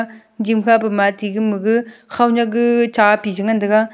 game kha pu ma ate gama gag khonyak gag chapi chi ngantaga.